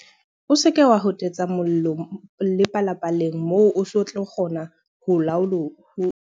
O seke wa hotetsa mollo le palapaleng moo o sa tlo kgona ho o laola.